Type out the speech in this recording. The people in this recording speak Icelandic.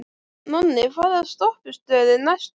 Nonni, hvaða stoppistöð er næst mér?